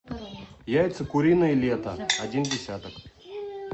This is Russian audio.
яйца куриные лето один десяток